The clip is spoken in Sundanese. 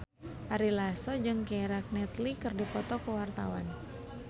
Ari Lasso jeung Keira Knightley keur dipoto ku wartawan